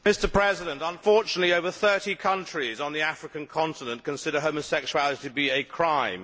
Mr President, unfortunately over 30 countries on the African continent consider homosexuality to be a crime.